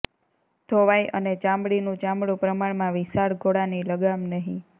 ધોવાઇ અને ચામડીનું ચામડું પ્રમાણમાં વિશાળ ઘોડાની લગામ નહીં